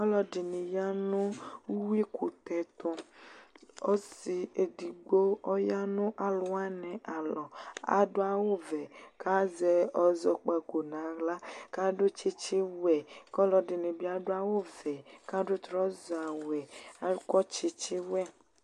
ɔlʋɛdini yanʋ ʋwui ɛkʋtɛ tʋ ɔsi edigbo ɔyanʋ alʋwani alɔ adʋ awʋvɛ kazɔ ɛzɔkpako naɣla adʋ tsitsi wɛ kɔ lʋɛdinibi adʋ awʋ wɛ adʋ NA wɛ akɔ tsitsi wɛ